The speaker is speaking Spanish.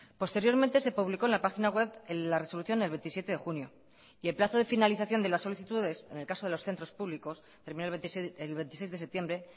posteriormente se publicó en la página web en la resolución del veintisiete de junio y el plazo de finalización de las solicitudes en el caso de los centros públicos terminó el veintiséis de septiembre